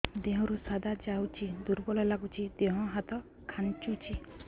ଦେହରୁ ସାଧା ଯାଉଚି ଦୁର୍ବଳ ଲାଗୁଚି ଦେହ ହାତ ଖାନ୍ଚୁଚି